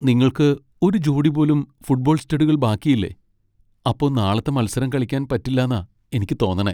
നിങ്ങൾക്ക് ഒരു ജോടി പോലും ഫുട്ബോൾ സ്റ്റഡുകൾ ബാക്കിയില്ലെ? അപ്പോ നാളത്തെ മത്സരം കളിക്കാൻ പറ്റില്ലാന്നാ എനിക്ക് തോന്നണേ .